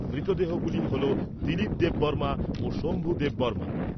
মৃতদেহগুলি হল দিলীপ দেববর্মা ও শম্ভু দেববর্মার।